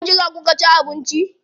A wajen jira kuka ci abinci?